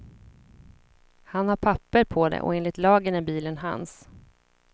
Han har papper på det och enligt lagen är bilen hans.